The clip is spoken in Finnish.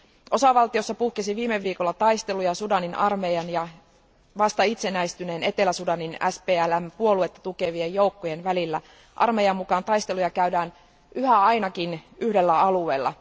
Osavaltiossa puhkesi viime viikolla taisteluja Sudanin armeijan ja vasta itsenäistyneen Etelä Sudanin SPLM puoluetta tukevien joukkojen välillä. Armeijan mukaan taisteluja käydään yhä ainakin yhdellä alueella.